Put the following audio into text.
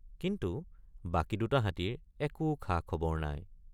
কিন্তু বাকী দুটা হাতীৰ একো খাখবৰ নাই।